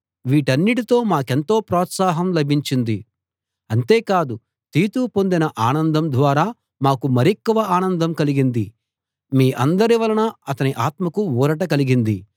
వీటన్నిటితో మాకెంతో ప్రోత్సాహం లభించింది అంతే కాదు తీతు పొందిన ఆనందం ద్వారా మాకు మరెక్కువ ఆనందం కలిగింది మీ అందరి వలన అతని ఆత్మకు ఊరట కలిగింది